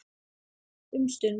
Um stund.